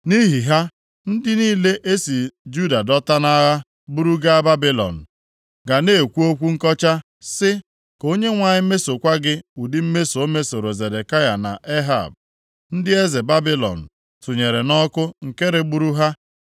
Nʼihi ha, ndị niile e si Juda dọta nʼagha buru gaa Babilọn ga na-ekwu okwu nkọcha sị, ‘Ka Onyenwe anyị mesokwa gị ụdị mmeso o mesoro Zedekaya na Ehab, ndị eze Babilọn tụnyere nʼọkụ nke regburu ha.’